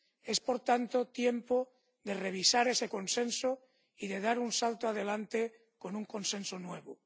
Es por tanto tiempo de revisar ese consenso y de dar un salto adelante con un consenso nuevo.